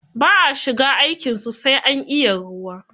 Ba a shiga aikin su, sai an iya ruwa.